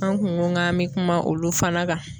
An kun go k'an be kuma olu fana kan